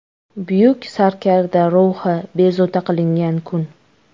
Buyuk sarkarda ruhi bezovta qilingan kun.